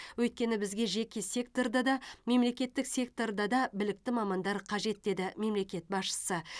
өйткені бізге жеке секторда да мемлекеттік секторда да білікті мамандар қажет деді мемлекет басшысы